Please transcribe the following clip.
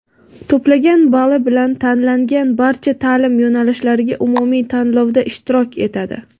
to‘plagan bali bilan tanlangan barcha taʼlim yo‘nalishlariga umumiy tanlovda ishtirok etadi.